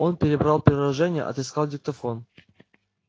он перебрал приложения отыскал диктофон